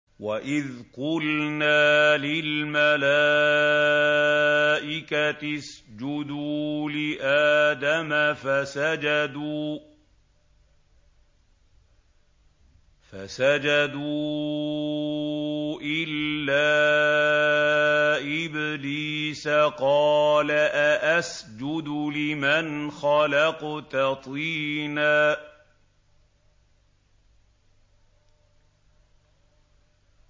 وَإِذْ قُلْنَا لِلْمَلَائِكَةِ اسْجُدُوا لِآدَمَ فَسَجَدُوا إِلَّا إِبْلِيسَ قَالَ أَأَسْجُدُ لِمَنْ خَلَقْتَ طِينًا